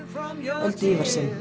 Öldu